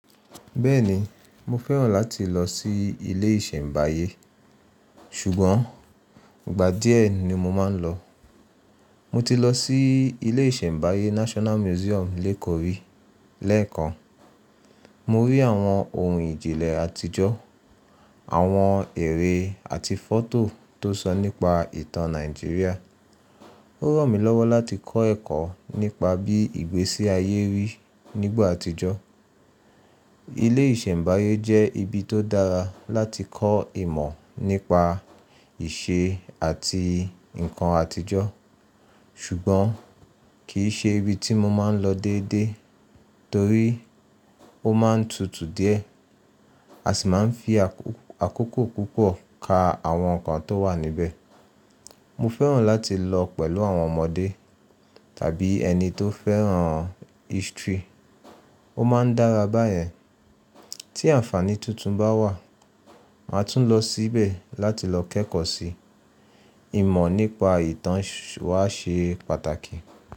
Bẹ́ẹ̀ni, mo fẹ́ràn láti lọ sí ilé ìṣẹ̀mbáyé, ṣùgbọ́n ìgbà díẹ̀ ni mo máa ń lọ. Mo ti lọ sí ilé ìṣẹ̀mbáyé National Museum Lekori lẹ́ẹ̀kan. Mo rí àwọn ohun ìjìnlẹ̀ àtijọ́, àwọn ère àti fọ́tò tó sọ nípa ìtàn Nàìjíríà. Ó ràn mí lọ́wọ́ láti kọ́ ẹ̀kọ́ nípa bí ìgbésí ayé rí nígbà àtijọ́. Ilé ìṣẹ̀mbáyé jẹ́ ibi tó dára láti kọ́ ìmọ̀ nípa ìṣe àti nǹkan àtijọ́. Ṣùgbọ́n kì í ṣe ibi tí mo máa ń lọ déédéé torí ó máa ń tutù díẹ̀ a sì máa ń fi àkókò púpọ̀ ka àwọn nǹkan tó wà níbẹ̀. Mo fẹ́ràn láti lọ pẹ̀lú àwọn ọmọdé tàbí ẹni tó fẹ́ràn history. Ó máa ń dára báyẹn. Tí àǹfàní tuntun bá wà, màá tún lọ síbẹ̀ láti lọ kẹ́kọ̀ọ́ si. Ìmọ̀ nípa ìtàn wà ṣe pàtàkì.